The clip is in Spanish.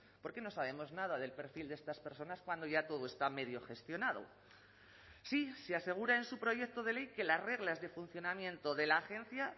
por qué no sabemos nada del perfil de estas personas cuando ya todo está medio gestionado sí se asegura en su proyecto de ley que las reglas de funcionamiento de la agencia